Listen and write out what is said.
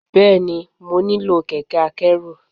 Bẹ́ẹ̀ni, mo nílò kẹ̀kẹ́ akẹ́rù.